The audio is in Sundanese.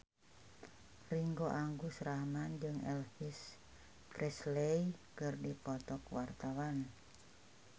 Ringgo Agus Rahman jeung Elvis Presley keur dipoto ku wartawan